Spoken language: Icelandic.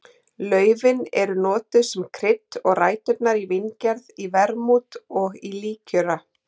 Laufin eru notuð sem krydd og ræturnar í víngerð í vermút og í líkjöra.